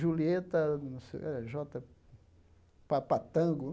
Julieta, não sei o eh, Jota... Papatango.